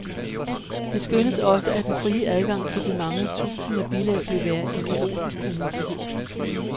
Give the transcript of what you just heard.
Det skønnes også, at den frie adgang til de mange tusinder bilag vil være en kaotisk umulighed.